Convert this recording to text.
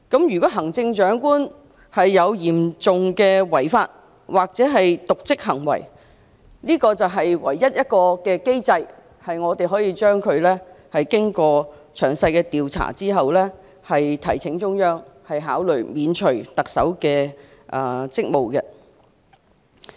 如果行政長官有嚴重違法或瀆職行為，這是唯一的機制，可在經過詳細調查之後，提請中央考慮免除特首的職務。